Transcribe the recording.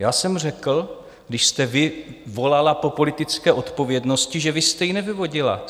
Já jsem řekl, když jste vy volala po politické odpovědnosti, že vy jste ji nevyvodila.